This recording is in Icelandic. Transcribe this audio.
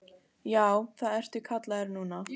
Já, það ertu kallaður núna.